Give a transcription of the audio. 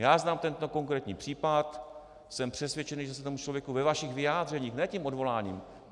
Já znám tento konkrétní případ, jsem přesvědčený, že se tomu člověku ve vašich vyjádřeních - ne tím odvoláním.